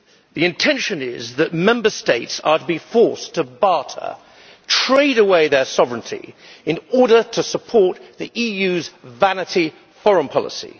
The intention is that Member States are to be forced to barter trade away their sovereignty in order to support the EU's vanity foreign policy.